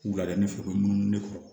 Wuladai fɛ u bɛ munumunu ne kɔrɔ